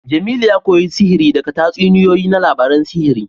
Jemilu ya koyi sihiri daga tatsuniyoyi na labarun sihiri